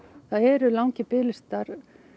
það eru langir biðlistar